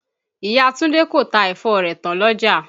Ìya Túndé kò ta ẹ̀fọ rẹ̀ tán l'ọ́jà.